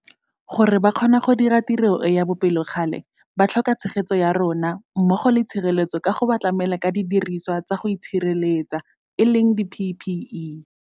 Gore ba kgone go dira tiro e ya bopelokgale ba tlhokatshegetso ya rona mmogo le tshireletso ka go ba tlamela ka didirisiwa tsa go itshireletsa di-PPE.